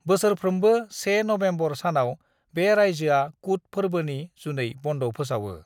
बोसोरफ्रोमबो 1 नबेम्बर सानाव बे रायजोआ कुट फोरबोनि जुनै बन्द फोसावो।